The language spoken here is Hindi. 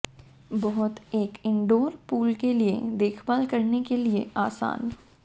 बहुत एक इनडोर पूल के लिए देखभाल करने के लिए आसान